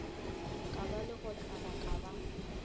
ke ba lekgothwane ke ba